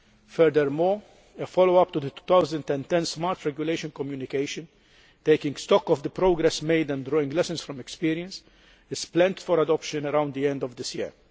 Furthermore, a follow up to the 2010 Smart Regulation Communication, taking stock of the progress made and drawing lessons from experience, is planned for adoption around the end of this year.